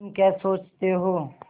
तुम क्या सोचते हो